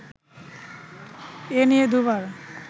এ নিয়ে দুবার